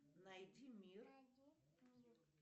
найди мир